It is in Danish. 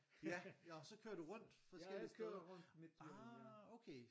Ja nå så kører du rundt forskellige steder ah okay